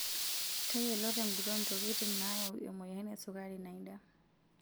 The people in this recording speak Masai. Tayiolotenguton ntokitin naayau emoyian esukari naida.